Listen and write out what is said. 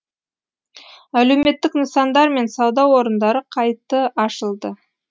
әлеуметтік нысандар мен сауда орындары қайты ашылды